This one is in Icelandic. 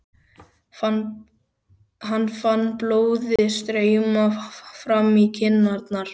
Hann fann blóðið streyma fram í kinnarnar.